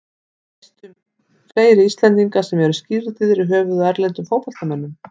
Veistu um fleiri Íslendinga sem eru skírðir í höfuðið á erlendum fótboltamönnum?